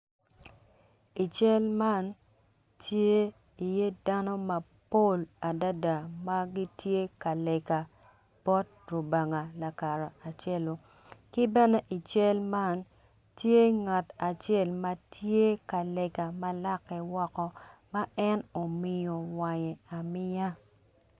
I cal man tye iye dano mapol adada ma gitye ka lega bot rubanga lakara celu ki bene i cal man tye ngat acel ma tye ka lega ma lake woko ma en omiyo wange amiya.